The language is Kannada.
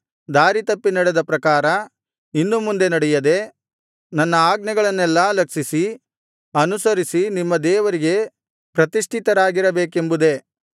ದಾರಿ ತಪ್ಪಿ ನಡೆದ ಪ್ರಕಾರ ಇನ್ನು ಮುಂದೆ ನಡೆಯದೆ ನನ್ನ ಆಜ್ಞೆಗಳನ್ನೆಲ್ಲಾ ಲಕ್ಷಿಸಿ ಅನುಸರಿಸಿ ನಿಮ್ಮ ದೇವರಿಗೆ ಪ್ರತಿಷ್ಠಿತರಾಗಿರಬೇಕೆಂಬುದೇ